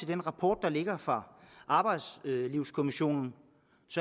den rapport der ligger fra arbejdslivskommissionen